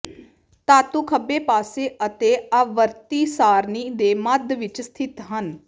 ਧਾਤੂ ਖੱਬੇ ਪਾਸੇ ਅਤੇ ਆਵਰਤੀ ਸਾਰਣੀ ਦੇ ਮੱਧ ਵਿੱਚ ਸਥਿਤ ਹਨ